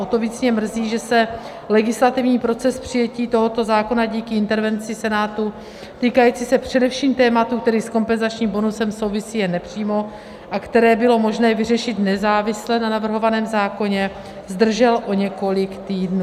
O to víc mě mrzí, že se legislativní proces přijetí tohoto zákona díky intervenci Senátu týkající se především tématu, který s kompenzačním bonusem souvisí jen nepřímo a který bylo možné vyřešit nezávisle na navrhovaném zákoně, zdržel o několik týdnů.